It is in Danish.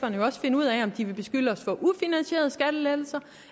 også finde ud af om de vil beskylde os for ufinansierede skattelettelser